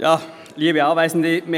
Kommissionssprecher der FiKo.